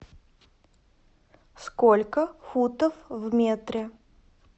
сколько футов в метре